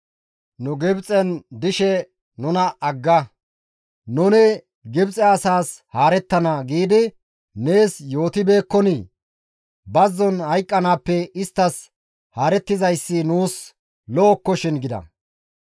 Nuni Gibxen dishe, ‹Nuna agga; nuni Gibxe asaas haarettana› giidi nees yootibeekkonii? Bazzon hayqqanaappe isttas haarettizayssi nuus lo7okkoshin» gida.